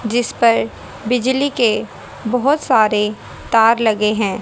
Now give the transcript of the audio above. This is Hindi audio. जिस पर बिजली के बहोत सारे तार लगे हैं।